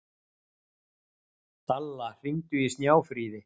Dalla, hringdu í Snjáfríði.